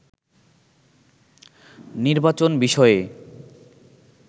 নির্বাচন বিষয়ে